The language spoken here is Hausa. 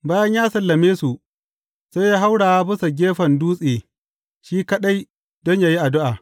Bayan ya sallame su, sai ya haura bisan gefen dutse shi kaɗai don yă yi addu’a.